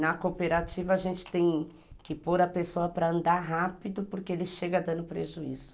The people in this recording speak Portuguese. Na cooperativa, a gente tem que pôr a pessoa para andar rápido porque ele chega dando prejuízo.